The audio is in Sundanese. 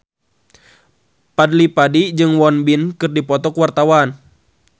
Fadly Padi jeung Won Bin keur dipoto ku wartawan